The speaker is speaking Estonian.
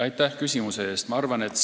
Aitäh küsimuse eest!